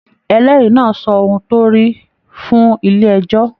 Ẹlẹri náà sọ ohùn torí fún ilé ẹjọ.